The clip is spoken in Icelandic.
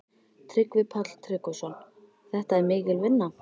Tryggvi Páll Tryggvason: Þetta er mikil vinna?